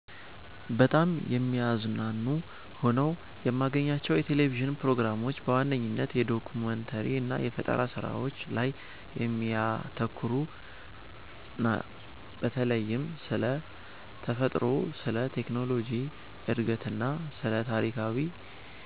በጣም የሚያዝናኑ ሆነው የማገኛቸው የቴሌቪዥን ፕሮግራሞች በዋነኝነት የዶኩመንተሪ እና የፈጠራ ስራዎች ላይ የሚያተኩሩትን ነው። በተለይም ስለ ተፈጥሮ፣ ስለ ቴክኖሎጂ እድገትና ስለ ታሪካዊ